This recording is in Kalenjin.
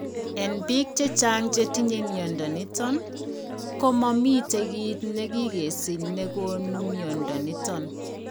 En biik chechang chetinye mnyondo niton , ko momiten kiit ne gigesich ne gonu mnyondo niton